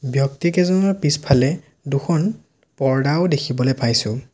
ব্যক্তিকেইজনৰ পিছফালে দুখন পৰ্দাও দেখিবলে পাইছোঁ।